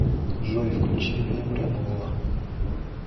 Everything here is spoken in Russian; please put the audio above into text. джой включи вем ребола